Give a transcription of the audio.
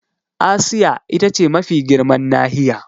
Asiya ita ce mafi girman nahiya.